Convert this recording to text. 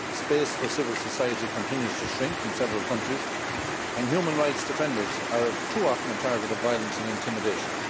The space for civil society continues to shrink in several countries, and human rights defenders are too often a target of violence and intimidation.